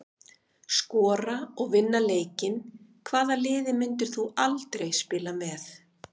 Skora og vinna leikinn Hvaða liði myndir þú aldrei spila með?